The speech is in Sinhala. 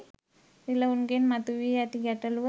රිලවුන්ගෙන් මතුවී ඇති ගැටලූව